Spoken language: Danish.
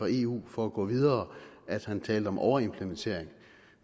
eu for at gå videre at han talte om overimplementering